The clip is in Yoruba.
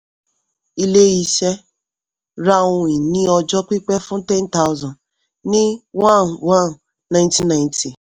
ilé-iṣẹ́ ra ohun ìní ọjọ́ pípẹ́ fún ten thousand ní one one nineteen ninety